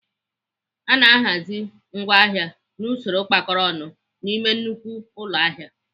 Ana ahazi ngwaahịa n'usoro kpakọrọ ọnụ n'ime nnukwu ụlọ ahịa.